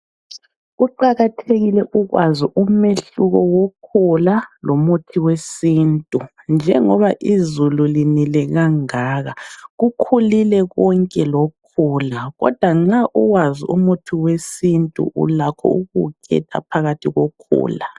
Kuqakathekile ukwazi umehluko wokhula lomuthi wesintu. Njengoba izulu linile kangaka kukhulile konke lokhula, kodwa nxa uwazi umuthi wesintu ulakho ukuwukhetha phakathi kokhula.